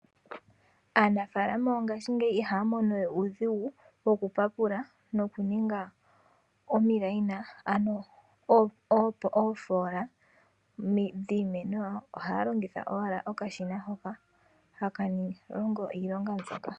Aanafaalama yongaashingeyi ihaya mono we uudhigu, wo kupapula noku ninga omikweyo, ano oofoola dhiimeno yawo, ohaya longitha owala oakashina hoka haka longo iilonga mbyoka.